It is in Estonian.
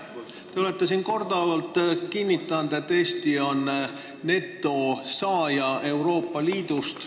Te olete siin korduvalt kinnitanud, et Eesti on Euroopa Liidus netosaaja.